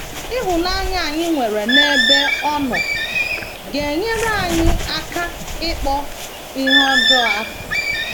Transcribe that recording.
Ịhụnanya anyị nwere n’ebe ọ nọ ga - enyere anyị aka ịkpọ ihe ọjọọ asị.